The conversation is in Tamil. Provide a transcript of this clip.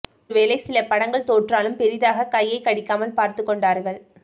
ஒரு வேளை சில படங்கள் தோற்றாலும் பெரிதாக கையைக் கடிக்காமல் பார்த்துக் கொண்டார்கள்